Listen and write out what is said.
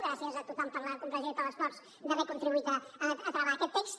gràcies a tothom per la comprensió i per l’esforç d’haver contribuït a travar aquest text